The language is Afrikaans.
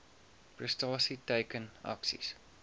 prestasie teiken aksies